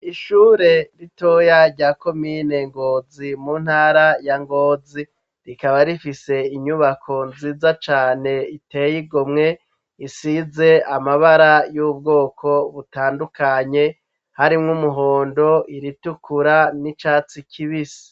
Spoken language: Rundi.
Ishure ritoya ryakomine Ngozi mu ntara ya Ngozi rikaba rifise inyubako nziza cane iteye igomwe isize amabara y'ubwoko butandukanye harimwo umuhondo iritukura n'icatsi kibisi.